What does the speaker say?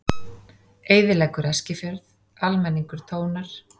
Eyðileggur Eskifjörð, almenningur tónar